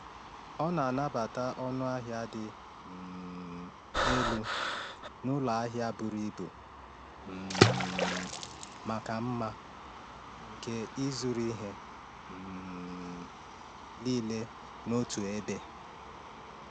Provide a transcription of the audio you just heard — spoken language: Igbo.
Ọ na-anabata ọnụ ahịa dị um elu n’ụlọ ahịa buru ibu um maka mma nke ịzụrụ ihe um niile n’otu ebe.